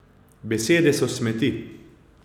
Besede so smeti.